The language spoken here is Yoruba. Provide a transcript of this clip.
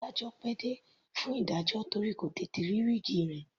Adájọ́ pẹ́ dé fún ìdájọ́ torí kò tètè rí wíìgi rẹ̀.